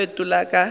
o ile a fetola ka